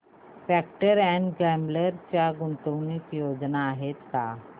Procter and Gamble च्या गुंतवणूक योजना आहेत का